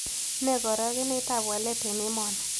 Nee karogenetap walet eng' emoni